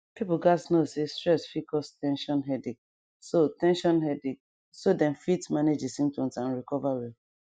people gatz know say stress fit cause ten sion headache so ten sion headache so dem fit manage di symptoms and recover well